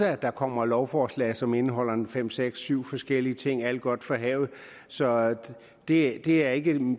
at der kommer lovforslag som indeholder en fem seks syv forskellige ting alt godt fra havet så det det er ikke